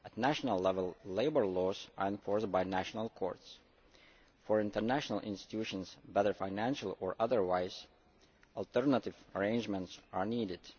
At national level, labour laws are enforced by national courts. For international institutions, whether financial or otherwise, alternative arrangements are needed.